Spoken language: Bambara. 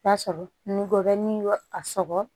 I b'a sɔrɔ ngɔbɔnin bɛ a sɔgɔ